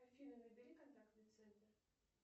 афина набери контактный центр